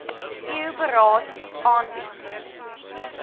eu beraad aanbied